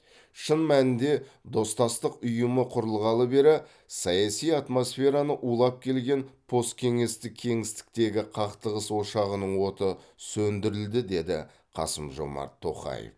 шын мәнінде достастық ұйымы құрылғалы бері саяси атмосфераны улап келген посткеңестік кеңістіктегі қақтығыс ошағының оты сөндірілді деді қасым жомарт тоқаев